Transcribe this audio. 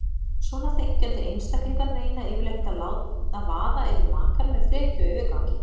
Svona þenkjandi einstaklingar reyna yfirleitt að vaða yfir makann með frekju og yfirgangi.